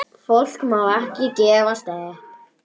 Fólk má ekki gefast upp.